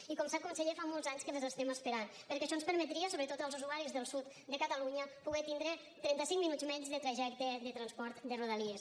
i com ho sap conseller fa molts anys que les estem esperant perquè això ens permetria sobretot als usuaris del sud de catalunya poder tindre trenta cinc minuts menys de trajecte de transport de rodalies